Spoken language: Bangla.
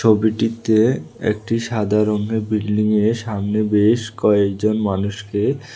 ছবিটিতে একটি সাদা রংয়ের বিল্ডিংয়ের সামনে বেশ কয়েকজন মানুষকে--